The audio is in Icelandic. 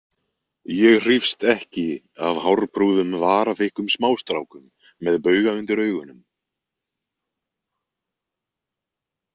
Ég hrífst ekki af hárprúðum varaþykkum smástrákum með bauga undir augunum.